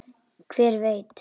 Hver veit!